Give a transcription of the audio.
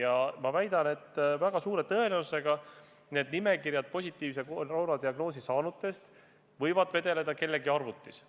Ja ma väidan, et väga suure tõenäosusega võivad need positiivse koroonadiagnoosi saanute nimekirjad vedeleda kellegi arvutis.